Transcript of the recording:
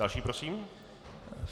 Další prosím.